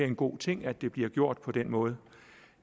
en god ting at det bliver gjort på den måde